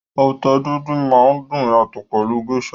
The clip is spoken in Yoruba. Ata díndín máa dùn yàtọ̀ pẹlú Gééṣà.